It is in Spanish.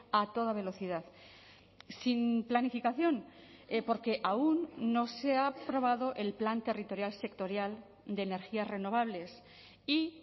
a toda velocidad sin planificación porque aún no se ha aprobado el plan territorial sectorial de energías renovables y